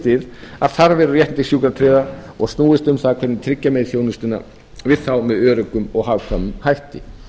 við þarfir og réttindi sjúkratryggðra og snúist um það hvernig tryggja megi þjónustuna við þá með öruggum og hagkvæmum hætti